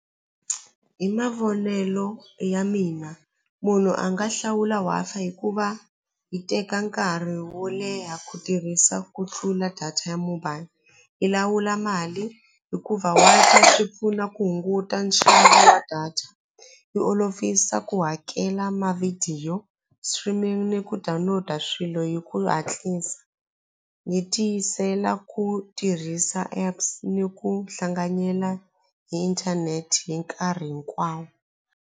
Hi mavonelo ya mina munhu a nga hlawula Wi-Fi hikuva hi teka nkarhi wo leha ku tirhisa ku tlula data ya mobile yi lawula mali hikuva Wi-Fi swi pfuna ku hunguta nxavo wa data yi olovisa ku hakela mavhidiyo streaming ni ku download-a swilo hi ku hatlisa ni tiyisela ku tirhisa apps ni ku hlanganyela hi inthanete hi nkarhi hinkwawo.